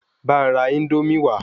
Bá n ra Índómì wa